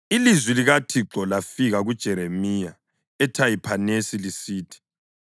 Ilizwi likaThixo lafika kuJeremiya eThahiphanesi lisithi,